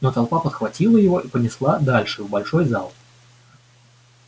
но толпа подхватила его и понесла дальше в большой зал